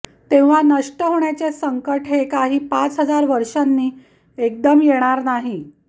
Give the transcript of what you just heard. तेव्हा नष्ट होण्याचे संंकट हे काही पाच हजार वर्षांनी एकदम येणार नाही